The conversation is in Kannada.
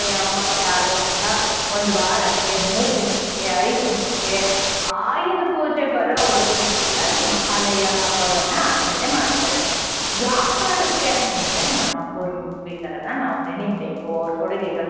ಅಮಾವಾಸ್ಯೆ ಆದಂಥಹ ಒಂದ್ ವಾರಕ್ಕೆ ಮೂರ್ ದಿನಕ್ಕೆ ಐದ್ ದಿನಕ್ಕೆ ಆಯುಧ ಪೂಜೆ ಬರೋವರ್ಗುನು ಕೂಡ ಈ ಮಹಾಲಯ ಹಬ್ಬ ವನ್ನ ನಾ ಆಚರಣೆ ಮಾಡ್ತಾರೆ. ಯಾವ್ ಕಾರಣಕ್ಕೆ ಅಂತ್ ಅಂದ್ರೆ ನಮ್ಮ ಪೂರ್ವಿಕರನ್ನ ನಾವ್ ನೆನಿಬೇಕು ಅವ್ರ್ ಕೊಡುಗೆಗಳನ್ನ.